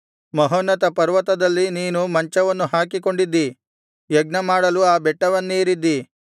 ಮಹೋನ್ನತ ಪರ್ವತದಲ್ಲಿ ನೀನು ಮಂಚವನ್ನು ಹಾಕಿಕೊಂಡಿದ್ದಿ ಯಜ್ಞಮಾಡಲು ಆ ಬೆಟ್ಟವನ್ನೇರಿದ್ದಿ